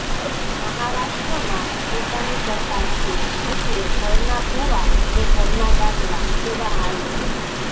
મહારાષ્ટ્રમાં પોતાની સરકાર છે એટલે ઘરનાં ભૂવાં ને ઘરનાં ડાકલાં જેવા હાલ છે